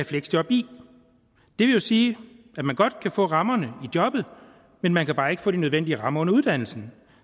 fleksjob i det vil sige at man godt kan få rammerne i jobbet men man kan bare ikke få de nødvendige rammer under uddannelsen